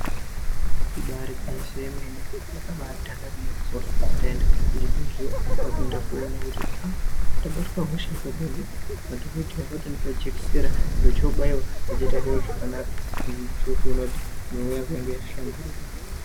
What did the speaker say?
Ibari gwinyiso remene taenda kuchibhedhleya kwakuenda koona kuti aaa ndabatwa hosha yepabonde madhokodheya akatondipa jekisera ndochobaiwa ndochoita zviro zvakanaka ndochotoona kuti mwiri yangu yanga yahlamburuka.